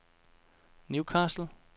Newcastle